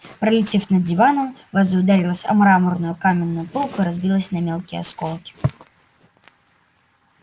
пролетев над диваном ваза ударилась о мраморную каминную полку и разбилась на мелкие осколки